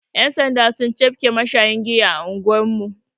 Yan' sanda sun cafke mashayin giya a anguwar mu.